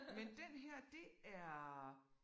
Men den her det er